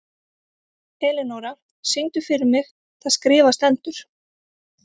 Elinóra, syngdu fyrir mig „Það skrifað stendur“.